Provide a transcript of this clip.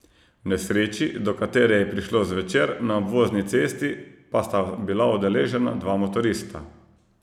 V nesreči, do katere je prišlo zvečer na Obvozni cesti, pa sta bila udeležena dva motorista.